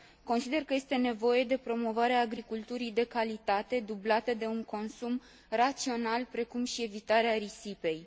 Consider că este nevoie de promovarea agriculturii de calitate, dublată de un consum rațional, precum și evitarea risipei.